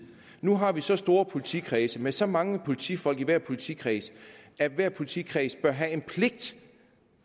nu har vi så store politikredse med så mange politifolk i hver politikreds at hver politikreds bør have en pligt